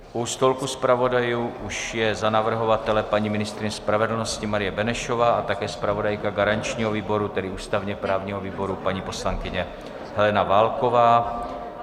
U stolku zpravodajů už je za navrhovatele paní ministryně spravedlnosti Marie Benešová a také zpravodajka garančního výboru, tedy ústavně-právního výboru, paní poslankyně Helena Válková.